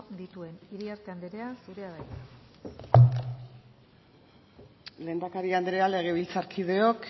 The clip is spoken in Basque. dituen iriarte anderea zurea da hitza lehendakari andrea legebiltzarkideok